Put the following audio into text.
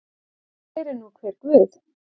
Sér er nú hver guð.